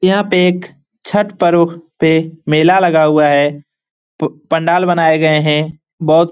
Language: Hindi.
यहाँ पे एक छठ पर्व पे मेला लगा हुआ है। पु पंडाल बनाये गए हैं। बहुत --